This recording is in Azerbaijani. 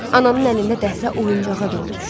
Ananın əlində dəhrə oyuncağa dönmüşdü.